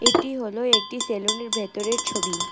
এটি হল একটি সেলুনের ভেতরের ছবি।